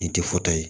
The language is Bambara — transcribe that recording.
I tɛ ye